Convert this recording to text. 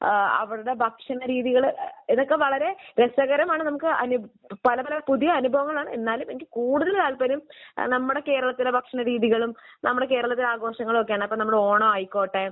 ഏഹ് അവരുടെ ഭക്ഷണരീതികൾ. ഇതൊക്കെ വളരെ രസകരമാണ് നമുക്ക് അനുഭ...പല പല പുതിയ അനുഭവങ്ങളാണ്. എന്നാലും എനിക്ക് കൂടുതൽ താല്പര്യം ഏഹ് നമ്മുടെ കേരളത്തിലെ ഭക്ഷണരീതികളും നമ്മുടെ കേരളത്തിലെ ആഘോഷങ്ങളും ഒക്കെയാണ്. ഇപ്പോൾ നമ്മുടെ ഓണമായിക്കോട്ടെ